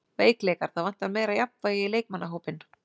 Veikleikar: Það vantar meira jafnvægi í leikmannahópinn.